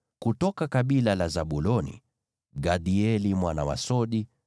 kutoka kabila la Zabuloni, Gadieli mwana wa Sodi,